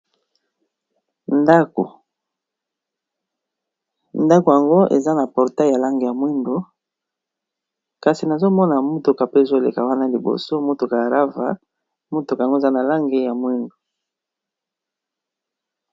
Ndako yango eza na portail ya langi ya mwindu, kasi nazomona mutuka pe ezo leka wana liboso motuka ya rava motuka yango eza na langi ya mwindu.